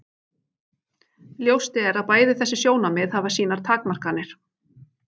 Ljóst er að bæði þessi sjónarmið hafa sínar takmarkanir.